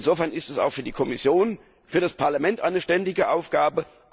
Insofern ist es auch für die Kommission und das Parlament eine ständige Aufgabe.